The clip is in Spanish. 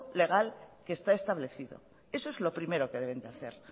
legal que está establecido eso es lo primero que deben de hacer